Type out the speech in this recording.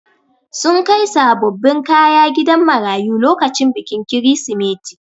Sun kai sabobbin kaya gidan marayu lokacin bikin kirisimeti.